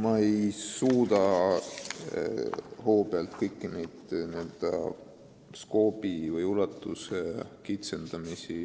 Ma ei suuda hoobilt kõiki neid eelnõu menetluse ajal tehtud n-ö scope'i või ulatuse kitsendamisi